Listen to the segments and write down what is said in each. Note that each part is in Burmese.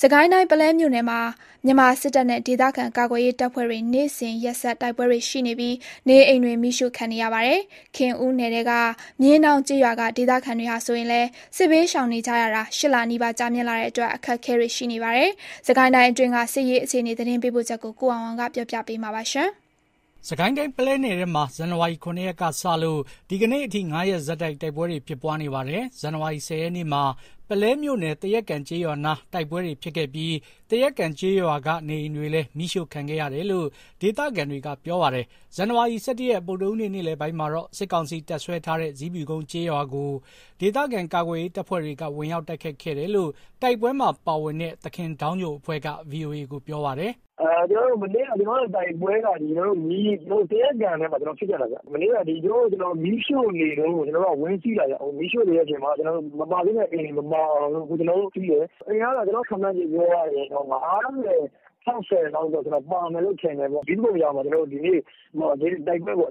စစ်ကိုင်းတိုင်း ပုလဲမြို့နယ်မှာ မြန်မာစစ်တပ်နဲ့ ဒေသခံကာကွယ်ရေးတပ်ဖွဲ့တွေ နေ့စဉ်ရက်ဆက် တိုက်ပွဲတွေရှိနေပြီး နေအိမ်တွေ မီးရှို့ခံနေရပါတယ်။ ခင်ဦးနယ်ထဲက မြင်းဒေါင်းကျေးရွာက ဒေသခံတွေဟာဆိုရင်လည်း စစ်ဘေးရှောင်နေရတာ ၈ လနီးပါး ကြာမြင့်လာတဲ့အတွက် အခက်အခဲတွေ ရှိနေပါတယ်။ စစ်ကိုင်းတိုင်းအတွင်းက စစ်ရေးအခြေအနေ သတင်းပေးပို့ချက်ကို ကိုအောင်အောင်က ပြောပြမှာပါ။ စစ်ကိုင်းတိုင်းပုလဲနယ်ထဲမှာ ဇန်နဝါရိ ၇ ရက်ကစလို့ ဒီကနေ့အထိ ၅ ရက်ဆက်တိုက် တိုက်ပွဲတွေဖြစ်ပွားနေပါတယ်။ ဇန်နဝါရီ ၁၀ ရက်နေ့မှာ ပုလဲမြို့နယ် သရက်ကန်ကျေးရွာနား တိုက်ပွဲတွေဖြစ်ခဲ့ပြီး၊ သရက်ကန်ကျေးရွာက နေအိမ်တွေလည်း မီးရှို့ခံခဲ့ရတယ်လို့ ဒေသခံတွေကပြောပါတယ်။ ဇန်နဝါရီ ၁၁ ရက် ဗုဒ္ဓဟူးနေ့ နေ့လည်ပိုင်းမှာတော့ စစ်ကောင်စီ တပ်စွဲထားတဲ့ ဇီးဖြူကုန်းကျေးရွာကို ဒေသခံကာကွယ်ရေးတပ်ဖွဲ့တွေက ဝင်ရောက်တိုက်ခိုက်ခဲ့တယ်လို့ တိုက်ပွဲမှာပါဝင်တဲ့ သခင်ဒေါင်းညိုအဖွဲ့က ဗွီအိုအေကို ပြောပါတယ်။ “မနေ့က တိုက်ပွဲက သရက်ကန်နားမှာဖြစ်ကြတာ။ မနေ့က သူတို့မီးရှို့နေတုန်းကို ကျွန်တော်တို့က ဝင်စီးတာခင်ဗျ။ မီးရှို့နေတုန်းမှာ မပါသင့်တဲ့အိမ်တွေမပါအောင် ကျွန်တော်တို့ဝင်စီးတယ်။ အိမ်ကတော့ ကျွန်တော့်စိတ်ထင် ၅၀ - ၆၀ လောက်တော့ ပါမယ်ထင်တယ်။ ဇီးဖြူကုန်းရွာမှာလည်း ကွန်တော်တို့ ဒီနေ့တိုက်ပွဲဖြစ်တယ်။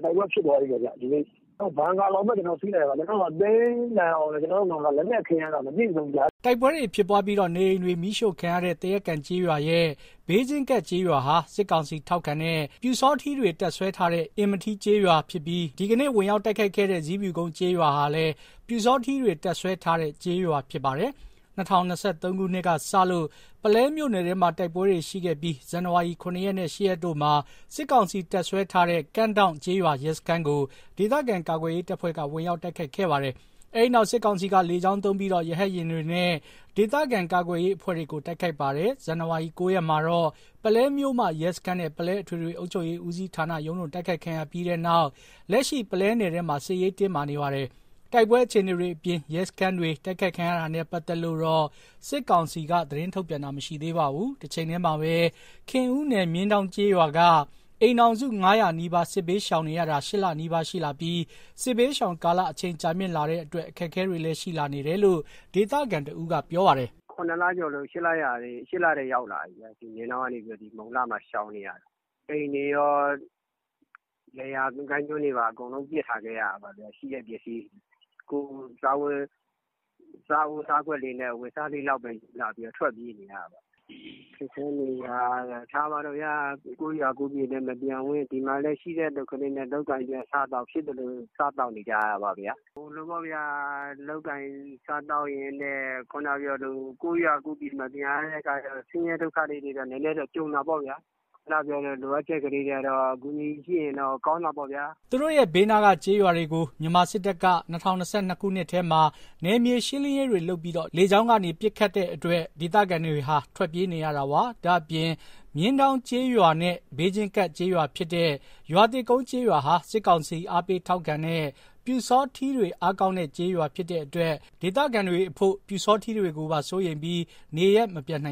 ဘန်ကာလောက်ပဲ ကျွန်တော်တို့စီးနိုင်ခဲ့တယ်။ သိမ်းနိုင်အောင်လည်း ကျွန်တော်တို့မှာ လက်နက်ခဲယမ်းက မပြည့်စုံဘူးဗျာ။” တိုက်ပွဲတွေဖြစ်ပွားပြီး နေအိမ်တွေမီးရှို့ခံရတဲ့ သရက်ကန်ကျေးရွာရဲ့ ဘေးချင်းကပ်ကျေးရွာဟာ စစ်ကောင်စီကိုထောက်ခံတဲ့ ပျူစောထီးတွေ တပ်စွဲထားတဲ့ အင်မထီးကျေးရွာဖြစ်ပြီး ဒီကနေ့ ဝင်ရောက်တိုက်ခိုက်ခဲ့တဲ့ ဇီဖြူကုန်းကျေးရွာဟာလည်း ပျူစောထီးတွေ တပ်စွဲထားတဲ့ကျေးရွာဖြစ်ပါတယ်။ ၂၀၂၃ ခုနှစ် ကစလို့ ပုလဲမြို့နယ်ထဲမှာ တိုက်ပွဲတွေရှိခဲ့ပြီး ဇန်နဝါရီ ၇ ရက် နဲ့ ၈ ရက်တို့မှာ စစ်ကောင်စီတပ်စွဲထားတဲ့ ကန့်ဒေါင့်ကျေးရွာရဲစခန်းကို ဒေသခံကာကွယ်ရေးတပ်ဖွဲ့တွေက ဝင်ရောက်တိုက်ခိုက်ခဲ့ပါတယ်။ အဲဒီနောက် စစ်ကောင်စီက လေကြောင်းသုံးပြီး ရဟတ်ယာဉ်တွေနဲ့ ဒေသခံကာကွယ်ရေးအဖွဲ့တွေကို တိုက်ခိုက်ပါတယ်။ ဇန်နဝါရီ ၉ ရက်မှာတော့ ပုလဲမြို့မ ရဲစခန်းနဲ့ ပုလဲအထွေထွေ အုပ်ချုပ်ရေးဦးစီးဌာန ရုံးတို့ တိုက်ခိုက်ခံရပြီးနောက် လက်ရှိ ပုလဲနယ်ထဲမှာ စစ်ရေးတင်းမာနေပါတယ်။ တိုက်ပွဲအခြေအနေတွေအပြင် ရဲစခန်းတွေ တိုက်ခိုက်ခံရတာနဲ့ ပတ်သက်လို့တော့ စစ်ကောင်စီက သတင်းထုတ်ပြန်တာ မရှိသေးပါဘူး။ တချိန်တည်းမှာပဲ ခင်ဦးနယ် မြင်းဒေါင်းကျေးရွာက အိမ်ထောင်စု ၅၀၀ နီးပါး စစ်ဘေးရှောင်နေရတာ ၈ လနီးပါးရှိလာပြီး စစ်ဘေးရှောင်ကာလ အချိန်ကြာမြင့်လာတဲ့အတွက် အခက်အခဲတွေလည်းရှိနေတယ်လို့ ဒေသခံတဦးကပြောပါတယ်။ “၇ လကျော် ၈ လထဲ ရောက်လာပြီ မြင်းဒေါင်းကနေ မုံလှမှာရှောင်နေရတာအိမ်တွေကော လယ်ယာကိုင်းကျွန်းတွေကော အကုန်ပစ်ထားခဲ့ရတာပေါ့ဗျာ ရှိတဲ့ပစ္စည်းတွေ ကိုယ့်စားအိုးစားခွက်လေးလောက်နဲ့ အဝတ်အစားလေးပဲယူပြီး ထွက်ပြေးနေရတာပေါ့။ ခက်ခဲနေတာက ကိုယ့်ရွာ ကိုယ့်မြေလည်း မပြန်ဝံ့ ဒီမှာလည်းရှိတဲ့အလုပ်ကလေးနဲ့ လုပ်ကိုင်ပြီး ဖြစ်သလို စားသောက်နေကြရတာပေါ့။ လုပ်ကိုင်စားသောက်ရင်းနဲ့ ကိုယ့်ရွာကိုယ့်မြေ မပြန်ရတော့ ဆင်းရဲဒုက္ခတွေ နည်းနည်းကြုံတာပေါ့။ လိုအပ်ချက်တွေကတော့ အကူအညီရှိရင်တော့ ကောင်းတာပေါ့။” သူတို့ရဲ့ဘေးနားက ကျေးရွာတွေကို မြန်မာစစ်တပ်က ၂၀၂၂ ခုနှစ်ထဲမှာ နယ်မြေရှင်းလင်းရေးတွေလုပ်ပြီး လေကြောင်းကနေ ပစ်ခတ်တာတွေ လုပ်ခဲ့တဲ့အတွက် ဒေသခံတွေဟာ ထွက်ပြေးနေရတာပါ။ ဒါ့အပြင် မြင်းဒေါင်းကျေးရွာနဲ့ ဘေးချင်းကပ်ကျေးရွာဖြစ်တဲ့ ရွာသစ်ကုန်းကျေးရွာဟာ စစ်ကောင်စီအားပေးထောက်ခံတဲ့ ပျူစောထီးတွေ အားကောင်းတဲ့ ကျေးရွာဖြစ်တဲ့အတွက် ဒေသခံအဖို့ ပျူစောထီးတွေကိုပါ စိုးရိမ်ပြီး နေရပ်မပြန်နိုင်